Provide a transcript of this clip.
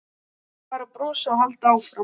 Bara brosa og halda áfram.